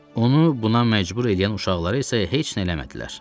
Onu buna məcbur eləyən uşaqlara isə heç nə eləmədilər.